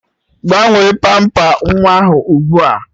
Gbanwee pamper nwa ahụ ụgbua